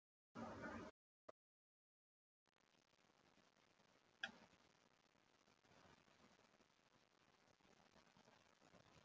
Sunna: Hvað heldurðu að þú fáir í jólagjöf?